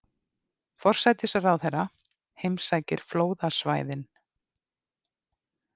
Forsætisráðherra heimsækir flóðasvæðin